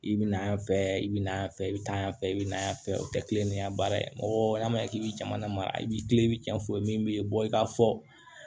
I bɛ na yan fɛ i bɛ na fɛ i bɛ taa yan fɛ i bɛ na yan fɛ o tɛ ni ya baara ye mɔgɔ ma ɲɛ k'i bɛ jamana ma i bɛ i bɛ cɛn f'u ye min bɛ bɔ i ka fɔ